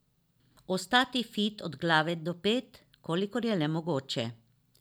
Ostati fit od glave do pet, kolikor je le mogoče.